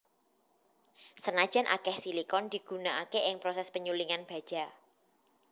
Senajan akeh silikon digunakake ing proses penyulingan baja